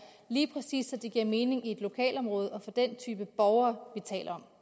lige præcis giver mening i et lokalområde og for den type borgere vi taler